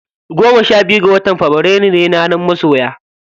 Goma sha biyu ga watan fabrairu ne ranar masoya.